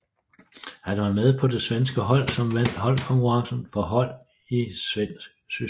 Han var med på det svenske hold som vandt holdkonkurrencen for hold i svensk system